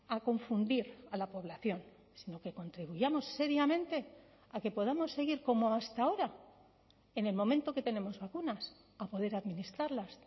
a confundir a la población sino que contribuyamos seriamente a que podamos seguir como hasta ahora en el momento que tenemos vacunas a poder administrarlas